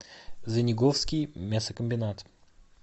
звениговский мясокомбинат